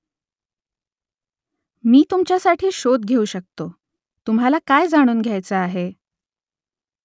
मी तुमच्यासाठी शोध घेऊ शकतो . तुम्हाला काय जाणून घ्यायचं आहे ?